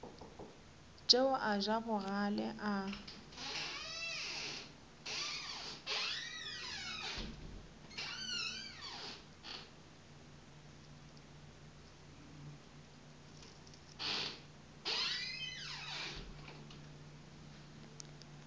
tšeo a ja bogale a